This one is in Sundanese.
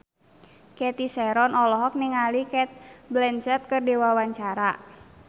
Cathy Sharon olohok ningali Cate Blanchett keur diwawancara